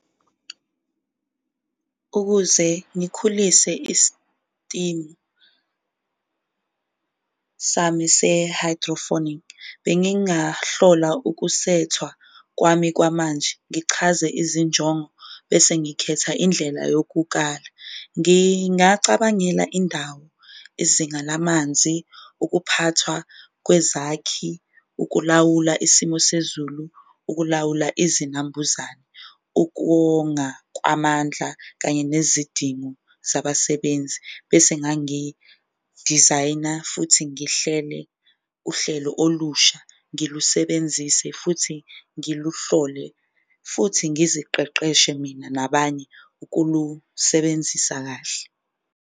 Ukuze ngikhulise isistimu sami se-hydrophonic bengingahlola ukusethwa kwami kwamanje, ngichaze izinjongo bese ngikhetha indlela yokukala. Ngingacabangela indawo, izinga lamanzi, ukuphathwa kwezakhi, ukulawula isimo sezulu, ukulawula izinambuzane, ukuwonga kwamandla kanye nezidingo zabasebenzi. Bese ngangidizayina futhi ngihlele uhlelo olusha, ngilusebenzise futhi ngiluhlole, futhi ngiziqeqeshe mina nabanye ukulusebenzisa kahle.